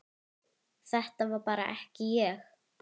Þetta var bara ekki ég.